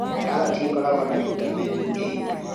Karati ĩkoragwo na vitamini A.